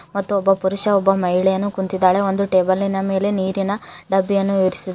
ಮತ್ತು ಪುರುಷ ಒಬ್ಬ ಮಹಿಳೆಯನ್ನು ಕುಂತಿದ್ದಾಳೆ ಒಂದು ಟೇಬಲ್ ನ ಮೇಲೆ ನೀರಿನ ಡಬ್ಬಿಯನ್ನು ಇರಿಸಿದ್ದಾರೆ.